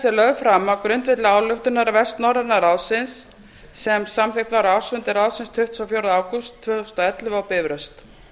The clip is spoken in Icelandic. lögð fram á grundvelli ályktunar vestnorræna ráðsins sem samþykkt var á ársfundi ráðsins tuttugasta og fjórða ágúst tvö þúsund og ellefu á bifröst